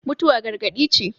mutuwa gargadi ce